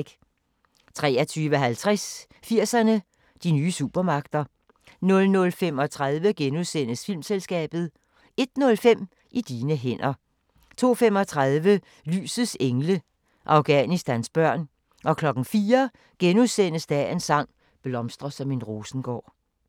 23:50: 80'erne: De nye supermagter 00:35: Filmselskabet * 01:05: I dine hænder 02:35: Lysets engle – Afghanistans børn 04:00: Dagens sang: Blomstre som en rosengård *